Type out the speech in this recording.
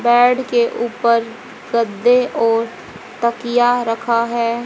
Bed के ऊपर गद्दे और तकिया रखा है।